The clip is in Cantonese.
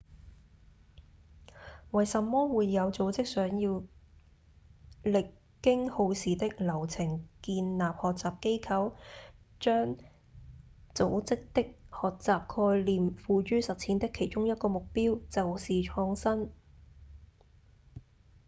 為什麼會有組織想要歷經耗時的流程建立學習機構？將組織的學習概念付諸實踐的其中一個目標就是創新